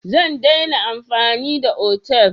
Zan daina amfani da otal.